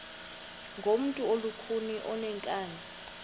ngumntu olukhuni oneenkani